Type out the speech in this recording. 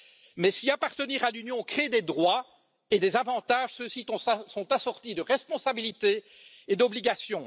Mais si appartenir à l'Union crée des droits et des avantages, ceux ci sont assortis de responsabilités et d'obligations.